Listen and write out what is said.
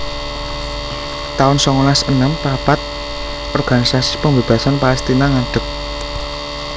taun songolas enem papat Organisasi Pembebasan Palestina ngadeg